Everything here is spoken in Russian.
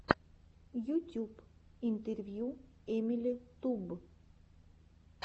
ютюб интервью эмили туб